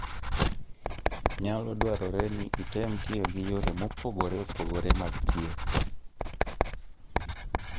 Nyalo dwarore ni item tiyo gi yore mopogore opogore mag thieth.